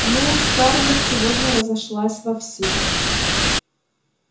ну скарлетт сегодня разошлась вовсю